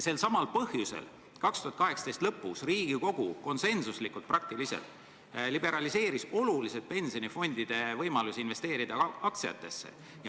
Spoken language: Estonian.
Selsamal põhjusel 2018. aasta lõpus Riigikogu peaaegu konsensuslikult liberaliseeris oluliselt pensionifondide võimalusi investeerida aktsiatesse.